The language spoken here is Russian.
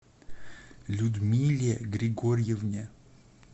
людмиле григорьевне